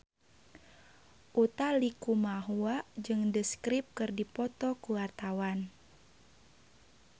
Utha Likumahua jeung The Script keur dipoto ku wartawan